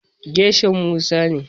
Gershom Musa ne.